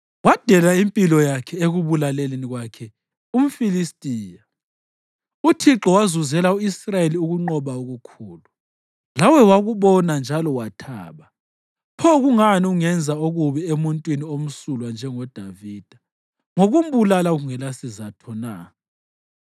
Wadela impilo yakhe ekubulaleni kwakhe umFilistiya. Uthixo wazuzela u-Israyeli ukunqoba okukhulu, lawe wakubona njalo wathaba. Pho kungani ungenza okubi emuntwini omsulwa njengoDavida ngokumbulala kungelasizatho na?”